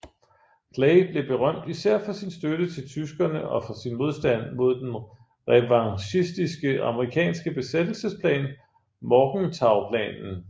Clay blev berømt især for sin støtte til tyskerne og for sin modstand mod den revanchistiske amerikanske besættelsesplan Morgenthauplanen